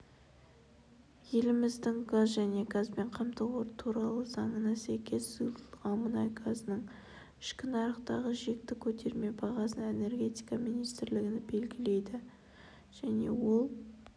еліміздің газ және газбен қамту туралы заңына сәйкес сұйылтылған мұнай газының ішкі нарықтағы шекті көтерме бағасын энергетика министрлігі белгілейді және ол